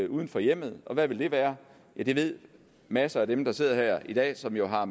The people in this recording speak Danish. uden for hjemmet og hvad vil det være ja det ved masser af dem der sidder her i dag som jo har